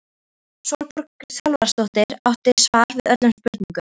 Sólborg Salvarsdóttir átti svar við öllum spurningum.